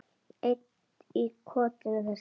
Einn í kotinu þessa dagana.